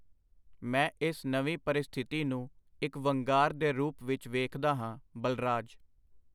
ਮੈਂ ਇਸ ਨਵੀਂ ਪਰਿਸਥਿਤੀ ਨੂੰ ਇਕ ਵੰਗਾਰ ਦੇ ਰੂਪ ਵਿਚ ਵੇਖਦਾ ਹਾਂ, ਬਲਰਾਜ.